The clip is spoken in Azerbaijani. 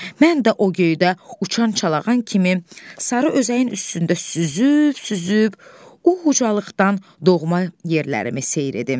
Mən də o göydə uçan çalağan kimi sarı özəyin üstündə süzüb-süzüb o ucalıqdan doğma yerlərimi seyr edim.